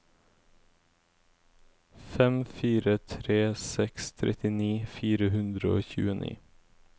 fem fire tre seks trettini fire hundre og tjueni